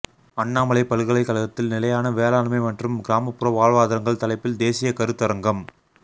அண்ணாமலை பல்கலைக்கழகத்தில் நிலையான வேளாண்மை மற்றும் கிராமபுற வாழ்வாதரங்கள் தலைப்பில் தேசிய கருத்தரங்கம்